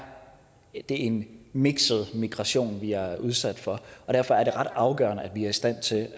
en mikset migration vi bliver udsat for og derfor er det ret afgørende at vi er i stand til